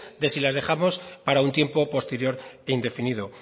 de si las dejamos para un tiempo posterior e indefinido